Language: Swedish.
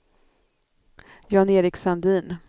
Jan-Erik Sandin